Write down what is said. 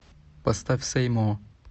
поставь сэй мо